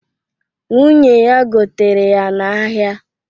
Nwunye ya gotere ya n'ahịa